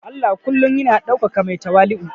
Allah kullum yana ɗaukaka mai tawali'u